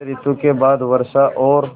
शरत ॠतु के बाद वर्षा और